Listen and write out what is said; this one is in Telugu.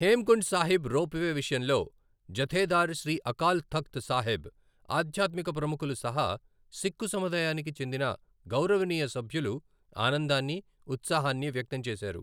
Him Kund Sahib ropeway విషయంలో జథేదార్ శ్రీ అకాల్ తఖ్త్ సాహిబ్, ఆధ్యాత్మిక ప్రముఖులు సహా సిఖ్కు సముదాయానికి చెందిన గౌరవనీయ సభ్యులు ఆనందాన్ని, ఉత్సాహాన్ని వ్యక్తం చేశారు.